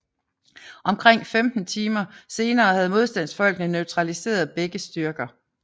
Omkring 15 timer senere havde modstandsfolkene neutraliseret begge styrker